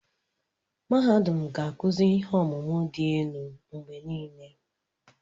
Mahadum ga-akụzi ihe ọmụmụ dị elu mgbe niile.